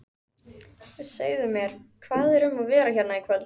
Segðu mér, hvað er um að vera hérna í kvöld?